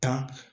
Tan